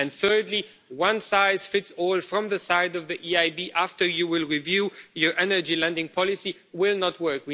Thirdly, one size fits all from the side of the EIB, after you review your energy lending policy, will not work.